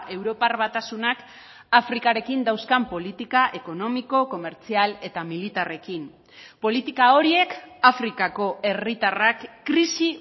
europar batasunak afrikarekin dauzkan politika ekonomiko komertzial eta militarrekin politika horiek afrikako herritarrak krisi